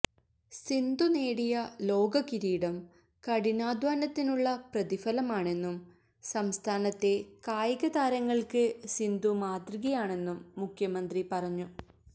സിന്ധു നേടിയ ലോക കിരീടം കഠിനാധ്വാനത്തിനുള്ള പ്രതിഫലമാണെന്നും സംസ്ഥാനത്തെ കായികതാരങ്ങൾക്ക് സിന്ധു മാതൃകയാണെന്നും മുഖ്യമന്ത്രി പറഞ്ഞു